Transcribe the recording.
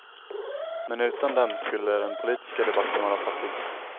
Men utan dem skulle den politiska debatten vara fattig.